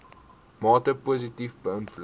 mate positief beïnvloed